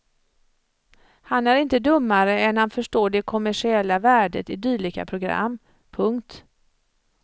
Han är inte dummare än att han förstår det kommersiella värdet i dylika program. punkt